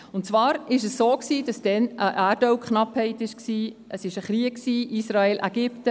Es war so, dass damals Erdölknappheit herrschte und ein Krieg Israel/Ägypten.